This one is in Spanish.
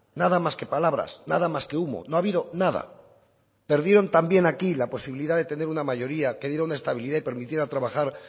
nada más que palabras nada más que humo no ha habido nada perdieron también aquí la posibilidad de tener una mayoría que diera una estabilidad y permitiera trabajar